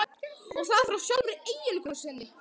Og það frá sjálfri eiginkonu sinni.